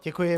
Děkuji.